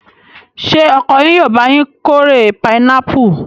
Ṣé ọkọ yín yóò bá yín kórè pinápù?